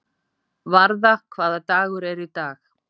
Varða, hvaða dagur er í dag?